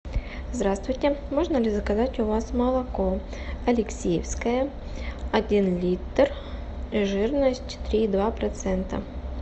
здравствуйте можно ли заказать у вас молоко алексеевское один литр жирность три и два процента